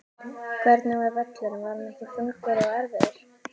Hvernig var völlurinn var hann ekki þungur og erfiður?